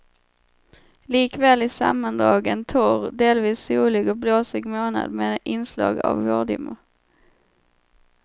Likväl i sammandrag en torr, delvis solig och blåsig månad med inslag av vårdimmor.